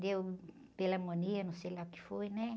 Deu pneumonia, não sei lá o que foi, né?